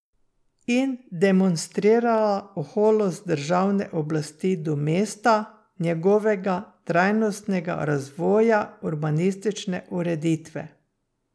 In demonstrirala oholost državne oblasti do mesta, njegovega trajnostnega razvoja, urbanistične ureditve.